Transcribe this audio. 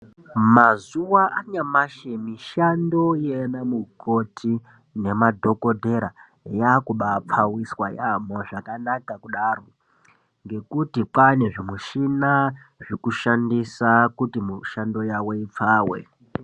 Mazuva anyamashi mishamdo yaana mikoti nemadhogodhera yakuba pfawiswa yaambo zvakanaka kudaro, ngekuti kwane zvimushina zvekushandisa kuti mushando yawo ipfawe.